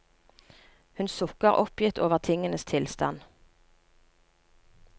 Hun sukker oppgitt over tingenes tilstand.